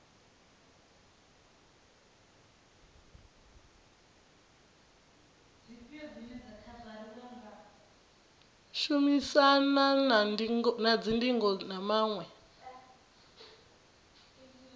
shumisanwa na dzingo na maṅwe